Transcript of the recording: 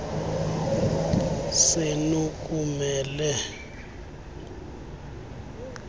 senu kumele ukubakho